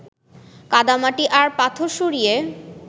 কাদা-মাটি আর পাথর সরিয়ে